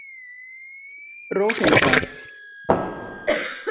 Rósinkrans